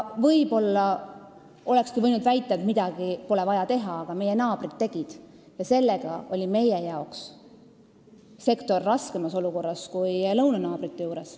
Võib-olla olekski võinud väita, et midagi pole vaja teha, aga meie naabrid tegid ja seetõttu oli meil see sektor raskemas olukorras kui lõunanaabritel.